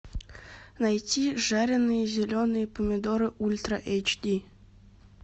найти жареные зеленые помидоры ультра эйч ди